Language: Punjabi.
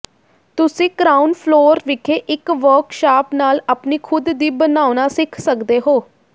ਤੁਸੀਂ ਕ੍ਰਾਊਨ ਫਲੋਰ ਵਿਖੇ ਇੱਕ ਵਰਕਸ਼ਾਪ ਨਾਲ ਆਪਣੀ ਖੁਦ ਦੀ ਬਣਾਉਣਾ ਸਿੱਖ ਸਕਦੇ ਹੋ